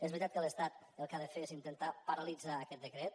és veritat que l’estat el que ha de fer és intentar paralitzar aquest decret